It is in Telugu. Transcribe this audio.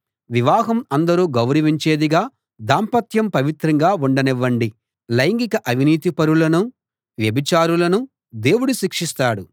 వివాహం అందరూ గౌరవించేదిగా దాంపత్యం పవిత్రంగా ఉండనివ్వండి లైంగిక అవినీతిపరులనూ వ్యభిచారులనూ దేవుడు శిక్షిస్తాడు